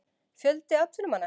Fjöldi atvinnumanna?